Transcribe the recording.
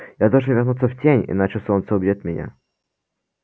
я должен вернуться в тень иначе солнце убьёт меня